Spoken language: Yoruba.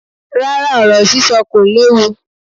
Rárá, ọ̀rọ̀ sísọ kò léwu.